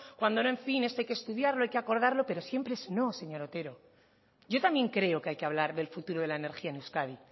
cuando no en fin esto hay que estudiarlo hay que acordarlo pero siempre es no señor otero yo también creo que hay que hablar del futuro de la energía en euskadi